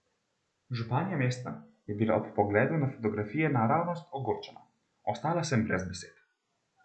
Županja mesta je bila ob pogledu na fotografije naravnost ogorčena: "Ostala sem brez besed.